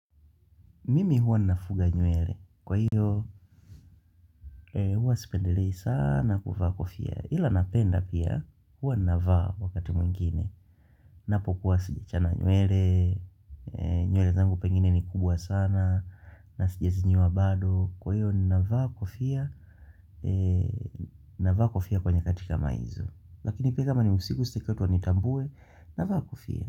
Mimi huwa ninafuga nywele. Kwa hiyo huwa sipendelei saana kuvaa kofia. Ila napenda pia huwa ninavaa wakati mwingine. Napokuwa sijachana nywele. Nyuele zangu pengine ni kubwa sana. Na sijazinyoa bado. Kwa hiyo nnavaa kofia. Ninavaa kofia kwa nyakati kama izo. Lakini pia kama ni usiku sitaki watu wanitambue. Navaa kofia.